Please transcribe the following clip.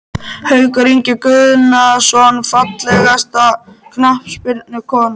Haukur Ingi Guðnason Fallegasta knattspyrnukonan?